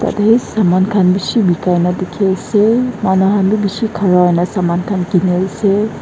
yateh saman khan beshi bekaina dekhe ase manu khan bhi beshi khara hoina saman khan kene ase.